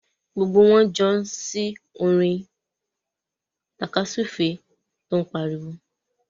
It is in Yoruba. Gbogbo wọn ń jó sí orin tàkasúfèé tó ń pariwo.